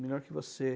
Melhor que você.